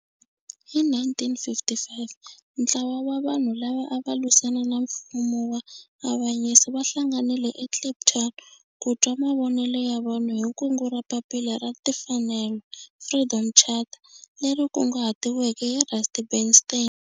Hi 1955 ntlawa wa vanhu lava ava lwisana na nfumo wa avanyiso va hlanganile eKliptown ku twa mavonelo ya vanhu hi kungu ra Papila ra Timfanelo, Freedom Charter, leri kunguhatiweke hi Rusty Bernstein.